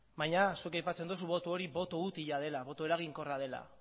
baina zuk aipatzen duzu boto hori boto utila dela boto eraginkorra dela